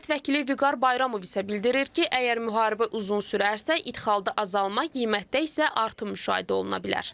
Millət vəkili Vüqar Bayramov isə bildirir ki, əgər müharibə uzun sürərsə, ixalda azalma, qiymətdə isə artım müşahidə oluna bilər.